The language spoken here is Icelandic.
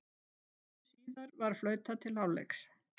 Stuttu síðar var flautað til hálfleiks.